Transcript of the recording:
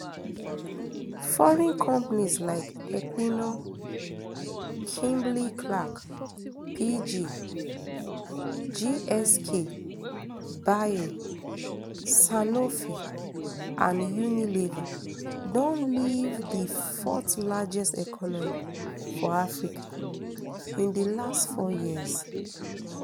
foreign companies like equinor kimberlyclark pg gsk bayer sanofi and unilever don leave di fourthlargest economy for africa in di last four years